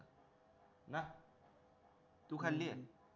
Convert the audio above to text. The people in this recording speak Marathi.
तू खाल्लेय